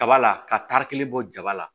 Kaba la ka taari kelen bɔ jaba la